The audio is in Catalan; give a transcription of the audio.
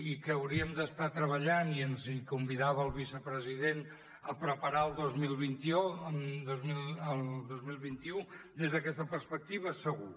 i que hauríem d’estar treballant i ens hi convidava el vicepresident a preparar el dos mil vint u des d’aquesta perspectiva segur